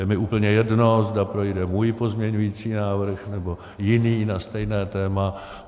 Je mi úplně jedno, zda projde můj pozměňovací návrh, nebo jiný na stejné téma.